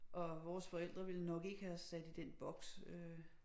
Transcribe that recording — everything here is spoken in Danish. Og vores forældre ville nok ikke have os sat i den boks øh